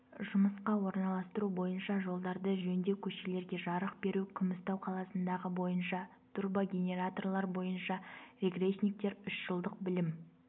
жұмысқа орналастыру бойынша жолдарды жөндеу көшелерге жарық беру күмістау қаласындағы бойынша турбогенераторлар бойынша регрессниктер үш жылдық білім